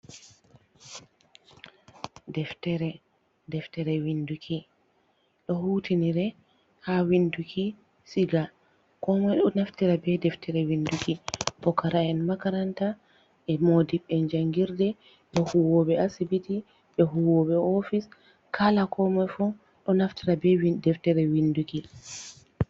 Deftere. Deftere winduki ɗo hutinire ha winduki siga, ko moi ɗo naftira be deftere winduki, pukara’en makaranta, e modib en jangirde, be huuwoɓe asibiti, be huuwoɓe ofis. Kala ko moi fuu ɗo naftira be deftere winduki.